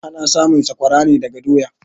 Ana samun sakwara ne daga doya.